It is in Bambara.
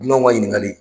Dunanw ka ɲininkali